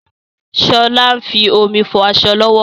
Sọlá ń fi omi fọ aṣọ lọ́wọ́